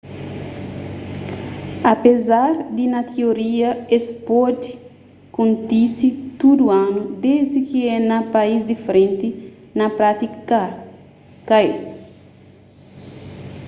apézar di na tioria es pode kontise tudu anu desdi ki é na país diferenti na prátika ka é